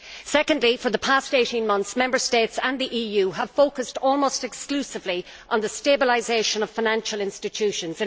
Secondly, for the past 18 months, Member States and the EU have focused almost exclusively on the stabilisation of financial institutions.